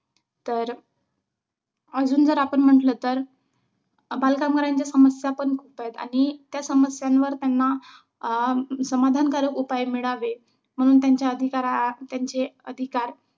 तर अजून जर आपण म्हंटल तर बालकामगारांच्या समस्या पण खूप आहेत. आणि त्या समस्यांवर त्यांना अं समाधानकारक उपाय मिळावेत म्हणून त्यांचे अधिकार त्यांचे अधिकार